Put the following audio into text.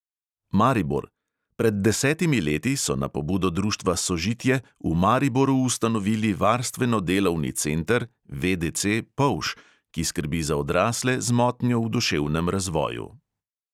Maribor – pred desetimi leti so na pobudo društva sožitje v mariboru ustanovili varstveno-delovni center polž, ki skrbi za odrasle z motnjo v duševnem razvoju.